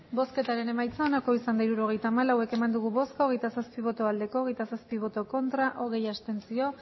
hirurogeita hamalau eman dugu bozka hogeita zazpi bai hogeita zazpi ez hogei abstentzio